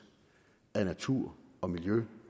af natur og miljø